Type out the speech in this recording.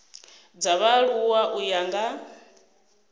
dza vhaaluwa u ya nga